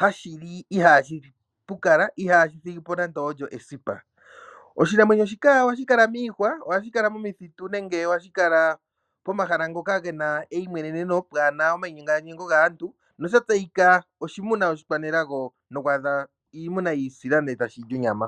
hashili ihashi pukala ihashi thigipo nande olyo esipa. Oshinamwenyo shika ohashi kala miihwa ,momithitu nenge pomahala ngoka gena eyimweneneno kapena omayinyengo gaantu nosha tseyika oshimuna oshikwanelago noku adha iimuna yiisila etashili onyama.